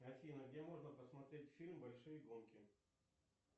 афина где можно посмотреть фильм большие гонки